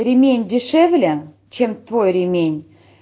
ремень дешевле чем твой ремень